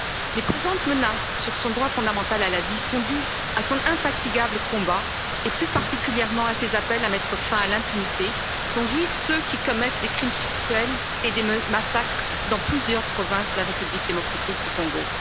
Les présentes menaces sur son droit fondamental à la vie sont dues à son infatigable combat, et plus particulièrement à ses appels à mettre fin à l'impunité dont jouissent ceux qui commettent des crimes sexuels et des massacres dans plusieurs provinces de la République démocratique du Congo.